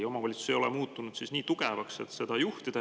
Omavalitsused pole muutunud nii tugevaks, et seda juhtida.